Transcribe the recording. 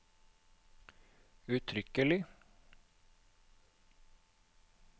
uttrykkelig